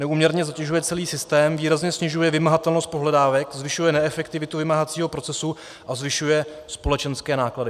Neúměrně zatěžuje celý systém, výrazně snižuje vymahatelnost pohledávek, zvyšuje neefektivitu vymáhacího procesu a zvyšuje společenské náklady.